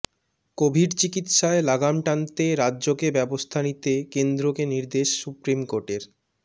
Covid চিকিৎসায় লাগাম টানতে রাজ্যকে ব্যবস্থা নিতে কেন্দ্রকে নির্দেশ সুপ্রিম কোর্টের